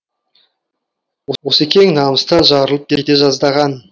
осекең намыстан жарылып кете жаздаған